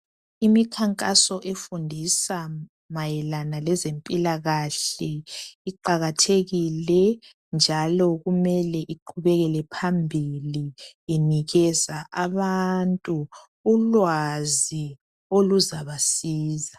Imikhankaso efundisa mayelana lezempilakahle iqakathekile njalo kumele iqhubekele phambili inikeza abantu ulwazi oluzabasiza.